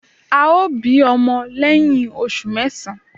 Ao bi omo leyin osu mesan